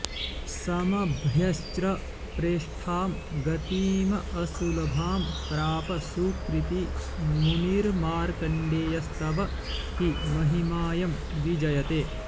समभ्यच्र्य प्रेष्ठां गतिमसुलभां प्राप सुकृती मुनिर्मार्कण्डेयस्तव हि महिमाऽयं विजयते